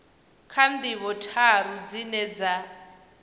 kha ndivho tharu dzine dza